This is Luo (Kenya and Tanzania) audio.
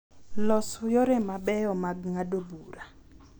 Los yore ma beyo mag ng’ado bura.